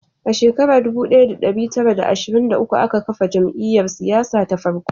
A shekara dubu daya da dari tara da ashirin da uku aka kafa jam'iyyar siyasa ta farko